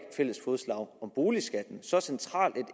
fælles fodslag om boligskatten så centralt